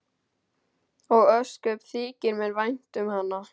Og ósköp þykir mér vænt um hana.